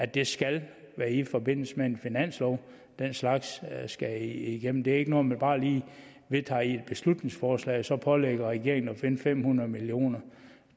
det skal være i forbindelse med finansloven at den slags skal igennem det er ikke noget man bare lige vedtager i et beslutningsforslag og så pålægger regeringen at finde fem hundrede million